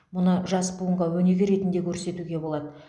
мұны жас буынға өнеге ретінде көрсетуге болады